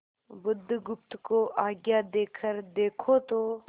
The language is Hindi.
बुधगुप्त को आज्ञा देकर देखो तो